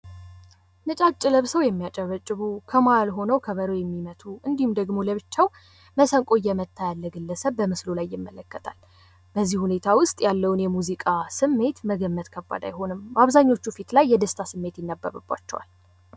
ነጫጭ ለብሰው የሚያጨበጭቡ ከመሃል ሆነው ከበሮ የሚመቱ እንዲሁም፤ ደግሞ ለብቻው መሰንቆ እየመታ ያለ ግለሰብ በምስሉ ላይ ይመለከታል። በዚህ ሁኔታ ውስጥ ያለውን የሙዚቃ ስሜት መገመት ከባድ አይሆንም። አብዛኞቹ ፊት ላይ የደስታ ስሜት ይነበብባቸዋል።